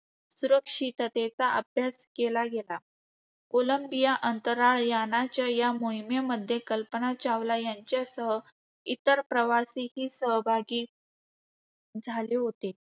सुरक्षिततेचा अभ्यास केला गेला. कोलंबिया अंतराळ यानाच्या या मोहिमेमध्ये कल्पना चावला यांच्यासह इतर प्रवासीही सहभागी झाले होते.